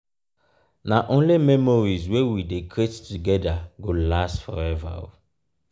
na only memories wey we dey create together go last forever.